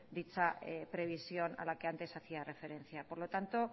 dicha previsión a la que antes hacía referencia por lo tanto